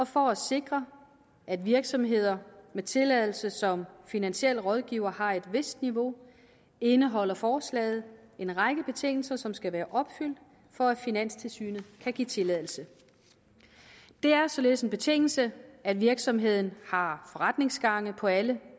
for at sikre at virksomheder med tilladelse som finansiel rådgiver har et vist niveau indeholder forslaget en række betingelser som skal være opfyldt for at finanstilsynet kan give tilladelse det er således en betingelse at virksomheden har forretningsgange på alle